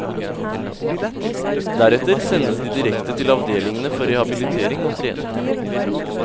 Deretter sendes de direkte til avdelingene for rehabilitering og trening.